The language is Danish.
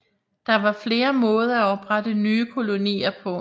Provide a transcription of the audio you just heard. Der var flere måder at oprette nye kolonier på